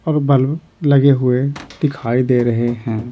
और बल्ब लगे हुए दिखाई दे रहे हैं।